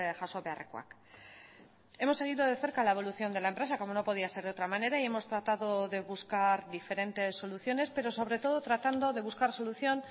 jaso beharrekoak hemos seguido de cerca la evolución de la empresa como no podía ser de otra manera y hemos tratado de buscar diferentes soluciones pero sobre todo tratando de buscar solución